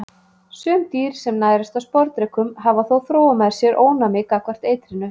Sum dýr sem nærast á sporðdrekum hafa þó þróað með sér ónæmi gagnvart eitrinu.